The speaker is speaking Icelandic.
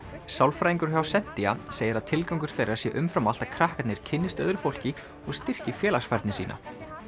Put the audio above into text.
sálfræðingur hjá segir að tilgangur þeirra sé umfram allt að krakkarnir kynnist öðru fólki og styrki félagsfærni sína